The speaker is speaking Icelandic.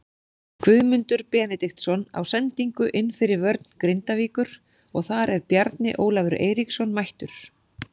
Guðmundur Benediktsson á sendingu inn fyrir vörn Grindavíkur og þar er Bjarni Ólafur Eiríksson mættur.